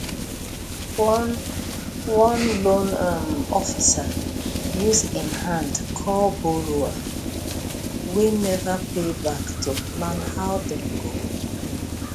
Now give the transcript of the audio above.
one one loan um officer use en hand call borrower wey never pay back to plan how dem go repay